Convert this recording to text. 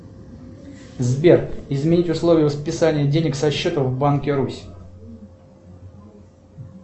сбер изменить условия списания денег со счета в банке русь